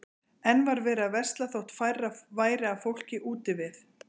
Enn var verið að versla þótt færra væri af fólki úti við.